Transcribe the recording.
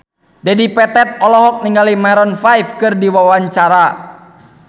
Dedi Petet olohok ningali Maroon 5 keur diwawancara